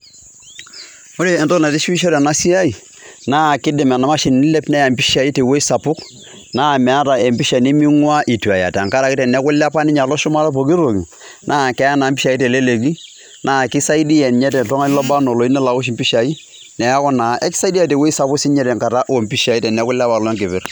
Ore entoki naitishipisho tena siai naa kiidim ena mashini ailepa neya impishai tewueji sapuk naa meeta empisha neming'uaa itu eya tenkaraki teneeku ilepa alo shumata epooki toki naa keya naa impishai teleleki naa kisaidia ninye toltung'ani lobaa enaa oloyieu nelo aosh impishai neeku naa akisaidia tewueji sapuk oompishai teneeku ilepa alo keper.